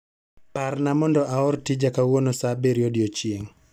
Parna mondo aor tija kawuono saa abirio odiechieng'